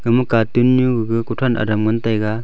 ama katun nyu gaga kothan adam ngan tega.